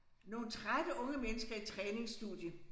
Nogle trætte unge mennesker i træningsstudie